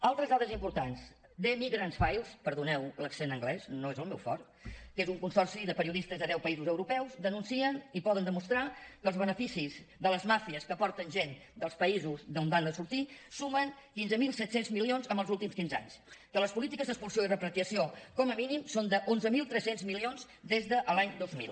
altres dades importants the migrants files perdoneu l’accent anglès no és el meu fort que és un consorci de periodistes de deu països europeus denuncien i poden demostrar que els beneficis de les màfies que porten gent dels països d’on van sortir sumen quinze mil set cents milions en els últims quinze anys que les polítiques d’expulsió i repatriació com a mínim són d’onze mil tres cents milions des de l’any dos mil